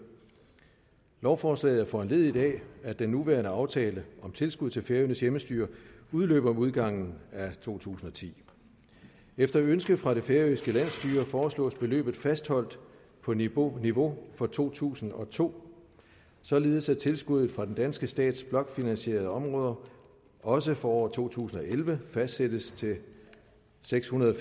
lovforslaget er foranlediget af at den nuværende aftale om tilskud til færøernes hjemmestyre udløber med udgangen af to tusind og ti efter ønske fra det færøske landsstyre foreslås beløbet fastholdt på niveau niveau for to tusind og to således at tilskuddet fra den danske stats blokfinansierede områder også for året to tusind og elleve fastsættes til seks hundrede